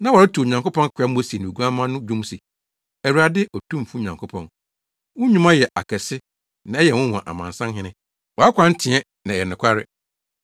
Na wɔreto Onyankopɔn akoa Mose ne Oguamma no dwom se, “Awurade, Otumfo Nyankopɔn, wo nnwuma yɛ akɛse na ɛyɛ nwonwa Amansan hene, wʼakwan teɛ na ɛyɛ nokware.